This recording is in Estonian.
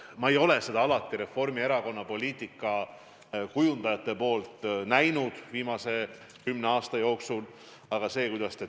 Ma ei ole seda Reformierakonna poliitikakujundajate poolt viimase kümne aasta jooksul alati näinud.